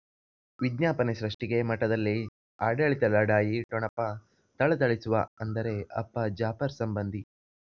ವಿಜ್ಞಾಪನೆ ಸೃಷ್ಟಿಗೆ ಮಠದಲ್ಲಿ ಆಡಳಿತ ಲಢಾಯಿ ಠೊಣಪ ಥಳಥಳಿಸುವ ಅಂದರೆ ಅಪ್ಪ ಜಾಫರ್ ಸಂಬಂಧಿ